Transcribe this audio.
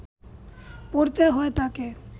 পড়তে হয় তাকে